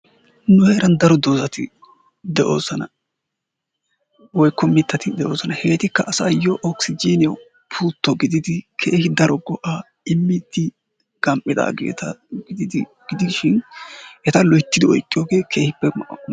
Nu heeran daro doozati de'oosona woykko daro mittati de'oosona. Hegetikka asaayoo okisijiniyaawu pullto giididi keehi daro go"aa immiidi gam"iidageeta gidishin eta loyttidi oyqqiyoogee keehippe lo"o.